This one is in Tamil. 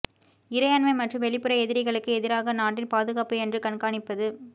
இறையாண்மை மற்றும் வெளிப்புற எதிரிகளுக்கு எதிராக நாட்டின் பாதுகாப்பு என்று கண்காணிப்பது